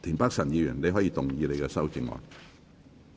田北辰議員，你可以動議你的修正案。